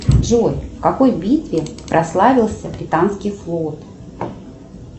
джой в какой битве прославился британский флот